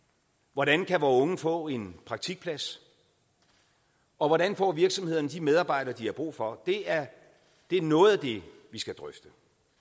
hvordan kan vore unge få en praktikplads og hvordan får virksomhederne de medarbejdere de har brug for det er det er noget af det vi skal drøfte